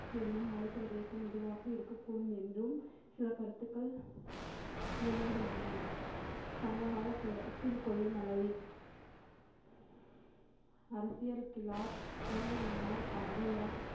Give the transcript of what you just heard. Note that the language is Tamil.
என்னும் மலைப்பிரதேசம் இதுவாக இருக்கக்கூடும் என்றும் சில கருத்துக்கள் நிலவுகின்றன சங்ககாலத்தில் கொல்லிமலை அரசியர்கிழார் அவ்வையார்